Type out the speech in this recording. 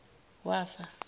wafa